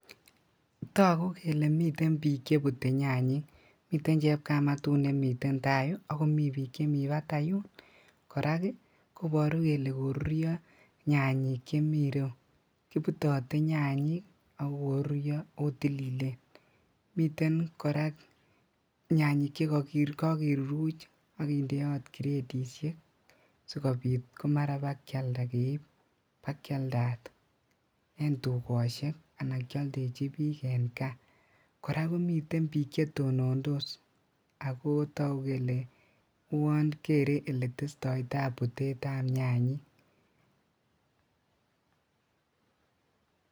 Togu kele miten bik chebute nyanyik miten chepkamatut nemiten tai yu ak komi bik chemi bataiyun korak koboru kele korurio nyanyik chemi ireyu kibutote nyanyik akokorurio oo tililen, miten korak nyanyik chekokiruruchot ak konde gradisiek sikobit komara bakialda keib bakialdat en tugoshek anan kioldechi bik en kaa, koraa komiten bik chetonondos ako togu kele kerei oletestoi tai butetab nyanyik.